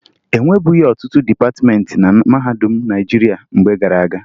E nwebughi ọtụtụ dịpatịmeentị na mahadum Naịjirịa mgbe gara aga